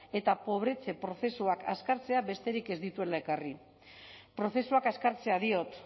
eta pobretze prozesua azkartzea besterik ez dituela ekarri prozesuak azkartzea diot